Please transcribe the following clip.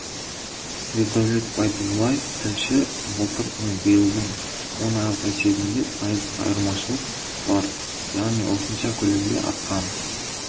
ердәулет байдуллаев тілші былтыр мен биылдың он айлық есебінде пайыздық айрмашылық бар яғни осынша көлемде артқан